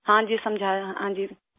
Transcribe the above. ہاں جی، سمجھایا، ہاں جی!